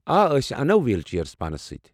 آ، أسۍ اَنو ویٖل چییر پانس سۭتۍ ۔